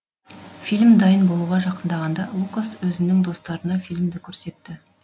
фильм дайын болуға жақындағанда лукас өзінің достарына фильмді көрсетті